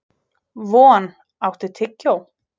Von, áttu tyggjó?